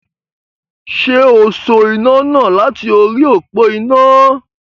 Ṣé o so iná náà láti orí òpo iná.